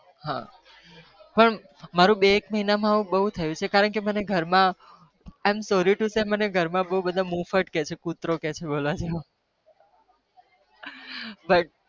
હા પણ મારું બે એક મહિના બવ થયું મનર ઘર માં બધા કુતરો કહે છે